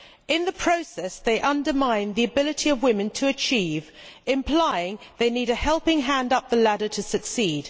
In the process they undermine the ability of women to achieve, implying they need a helping hand up the ladder to succeed.